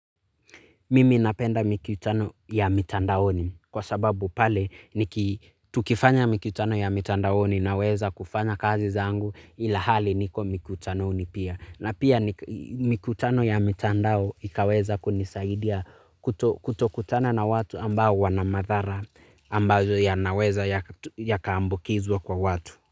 Mimi napenda mikutano ya mitandaoni kwa sababu pale, tukifanya mikutano ya mitandaoni naweza kufanya kazi zangu ilhali niko mikutanoni pia. Na pia mikutano ya mitandao ikaweza kunisaidia kutokutana na watu ambao wana madhara ambazo yanaweza yakaambukizwa kwa watu.